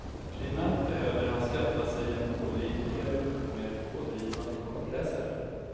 Primärt behöver han skaffa sig en pålitligare och mer pådrivande kartläsare.